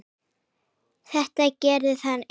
Þetta gerði hann einn.